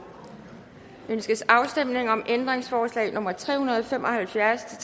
ønskes afstemning om ændringsforslag nummer tre hundrede og fem og halvfjerds